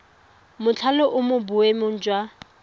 mothale o mo boemong jwa